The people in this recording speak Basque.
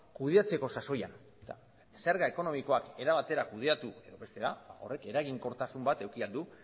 kudeatzeko sasoian eta zerga ekonomikoak era batera kudeatu edo bestera horrek eraginkortasun bat eduki ahal du